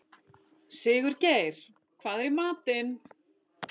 Sigurgeir, hvað er í matinn?